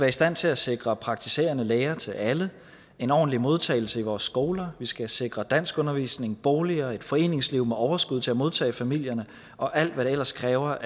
i stand til at sikre praktiserende læger til alle og en ordentlig modtagelse i vores skoler vi skal sikre danskundervisning boliger et foreningsliv med overskud til at modtage familierne og alt hvad der ellers kræves